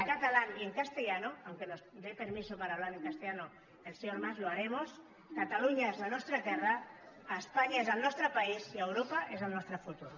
en catalán y en castellano aunque nos dé permiso para hablar en castellano el señor mas lo haremos catalunya és la nostra terra espanya és el nostre país i europa és el nostre futur